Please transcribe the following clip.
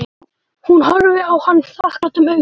Hún horfði á hann þakklátum augum.